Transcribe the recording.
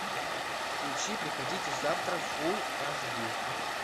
включи приходите завтра фулл аш ди